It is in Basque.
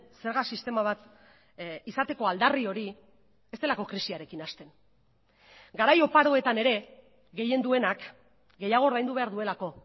zerga sistema bat izateko aldarri hori ez delako krisiarekin hasten garai oparoetan ere gehien duenak gehiago ordaindu behar duelako